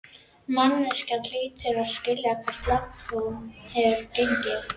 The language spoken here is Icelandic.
Manneskjan hlýtur líka að skilja hve langt hún hefur gengið.